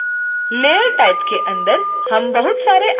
layer type के अंदर हम बहुत सारे आइकॉन देख सकते हैं